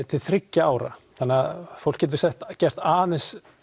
til þriggja ára þannig að fólk getur gert aðeins